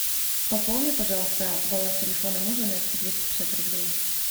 пополни пожалуйста баланс телефона мужа на двести пятьдесят рублей